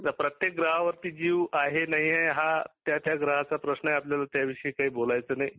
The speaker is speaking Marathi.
जसा प्रत्येक ग्रहावरती जीव आहे, नाही हा त्या त्या ग्रहाचा प्रश्न आहे. आपल्याला त्याविशयी काही बोलायच नाही